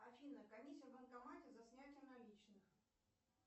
афина комиссия в банкомате за снятие наличных